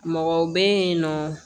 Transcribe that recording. Mɔgɔw bɛ yen nɔ